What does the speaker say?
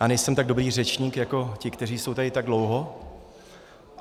Já nejsem tak dobrý řečník jako ti, kteří jsou tady tak dlouho.